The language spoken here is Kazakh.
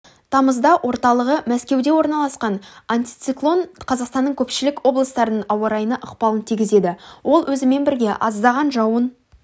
тамызда орталығы мәскеуде орналасқан антициклон қазақстанның көпшілік облыстарының ауа-райына ықпалын тигізеді ол өзімен бірге аздаған жауын